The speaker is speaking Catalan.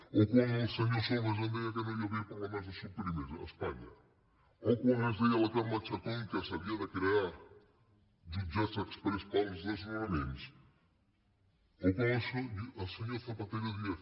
o quan el senyor solbes ens deia que no hi havia problemes de subprimescarme chacón que s’havien de crear jutjats exprés per als desnonaments o quan el senyor zapatero deia